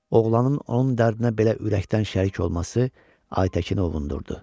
Oğlanın onun dərdinə belə ürəkdən şərik olması Aytəkini ovundururdu.